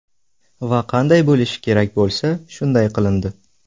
va qanday bo‘lishi kerak bo‘lsa, shunday qilindi.